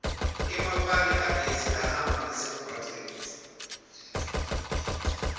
emapali agesi ahamba ngasemgwaceni